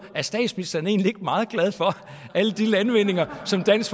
er statsministeren egentlig ikke meget glad for alle de landvindinger som dansk